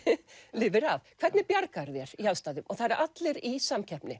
lifir af hvernig bjargarðu þér í aðstæðum og það eru allir í samkeppni